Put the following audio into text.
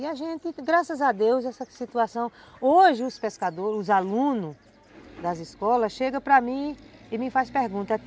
E a gente, graças a Deus, essa situação... Hoje os pescadores, os alunos das escolas chegam para mim e me fazem pergunta.